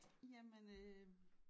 Jamen øh